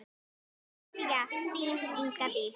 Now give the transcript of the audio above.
Kveðja, þín, Inga Dís.